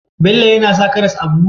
Bello yAna sa karas a buhu?